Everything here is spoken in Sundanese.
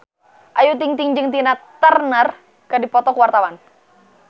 Ayu Ting-ting jeung Tina Turner keur dipoto ku wartawan